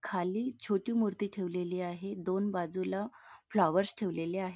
खाली छोटी मूर्ती ठेवलेली आहे दोन बाजूला फ्लॉवर्स ठेवलेले आहेत.